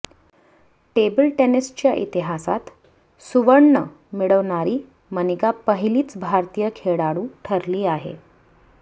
table टेनिसच्या इतिहासात सुवर्ण मिळवणारी मनिका पहिलीच भारतीय खेळाडू ठरली आहे